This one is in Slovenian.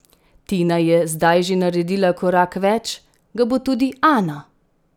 Tina je zdaj že naredila korak več, ga bo tudi Ana?